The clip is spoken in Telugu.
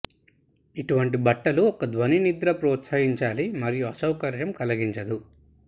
ఇటువంటి బట్టలు ఒక ధ్వని నిద్ర ప్రోత్సహించాలి మరియు అసౌకర్యం కలిగించదు